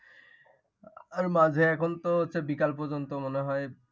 আর মাঝে এখন তো হচ্ছে, বিকেল পর্যন্ত মনে হয়।